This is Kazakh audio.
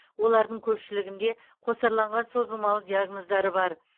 олардың көпшілігінде қосарланған созылмалы диагноздары бар